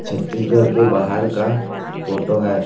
छत्तीसगढ़ के बाहर का फोटो है।